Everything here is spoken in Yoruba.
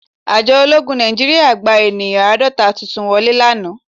Àjọ ológun Nàìjíríà gba ènìyàn àádọ́ta tuntun wọlé lánàá